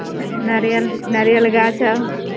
नारियल नारियल गाछ हो।